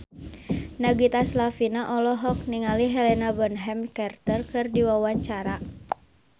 Nagita Slavina olohok ningali Helena Bonham Carter keur diwawancara